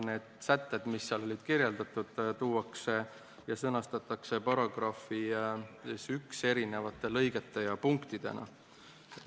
Need sätted, mis olid seal kirjeldatud, tuuakse ja sõnastatakse §-s 1 eri lõigete ja punktidena.